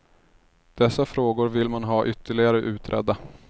Dessa frågor vill man ha ytterligare utredda.